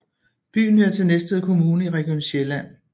Byen hører til Næstved Kommune i Region Sjælland